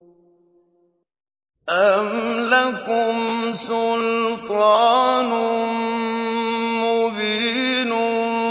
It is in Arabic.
أَمْ لَكُمْ سُلْطَانٌ مُّبِينٌ